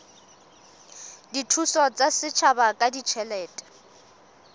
dithuso tsa setjhaba ka ditjhelete